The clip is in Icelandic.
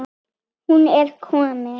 Hún er komin,